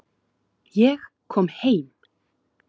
Ég kom heim!